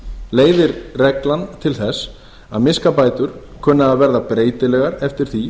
leiðir reglan til þess að miskabætur kunna að verða breytilegar eftir því